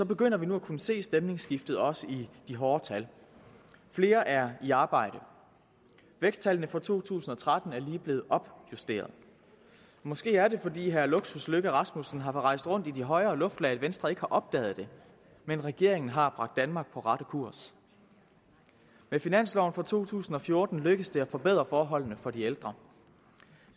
begynder vi nu at kunne se stemningsskiftet også i de hårde tal flere er i arbejde væksttallene for to tusind og tretten er lige blevet opjusteret måske er det fordi herre luksus løkke rasmussen har rejst rundt i de højere luftlag at venstre ikke har opdaget det men regeringen har bragt danmark på rette kurs med finansloven for to tusind og fjorten lykkes det at forbedre forholdene for de ældre